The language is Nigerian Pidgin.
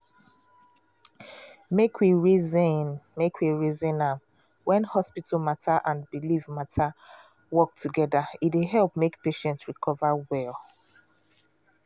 make we reason make we reason am when hospital matter and belief matter work together e dey help make patient recover well.